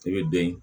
I bɛ den